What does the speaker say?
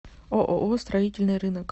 ооо строительный рынок